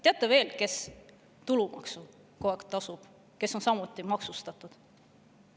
Teate, kes veel kogu aeg tulumaksu tasub, kes on samuti maksustatud?